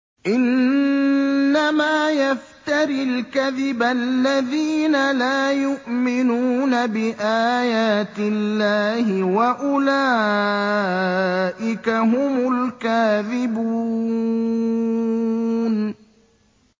إِنَّمَا يَفْتَرِي الْكَذِبَ الَّذِينَ لَا يُؤْمِنُونَ بِآيَاتِ اللَّهِ ۖ وَأُولَٰئِكَ هُمُ الْكَاذِبُونَ